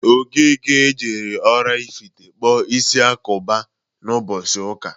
Okeke jere Oraifite kpụọ isi agụba mbọsi ụka.